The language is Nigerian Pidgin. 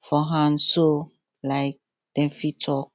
for hand so um dem fit talk